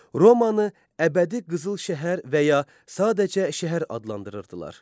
Romanı əbədi qızıl şəhər və ya sadəcə şəhər adlandırırdılar.